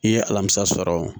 I ye alamisa sɔrɔ o